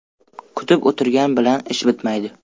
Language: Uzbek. Kutib o‘tirgan bilan ish bitmaydi.